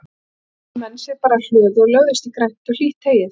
Þá fundu menn sér bara hlöðu og lögðust í grænt og hlýtt heyið.